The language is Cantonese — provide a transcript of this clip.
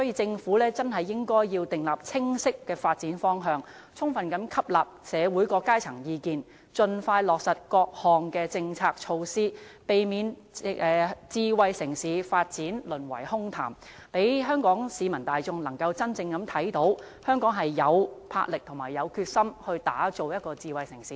政府應該訂立清晰的發展方向，充分吸納社會各階層的意見，盡快落實各項政策措施，避免智慧城市的發展淪為空談，讓香港市民大眾真正看到香港有魄力和決心打造成為智慧城市。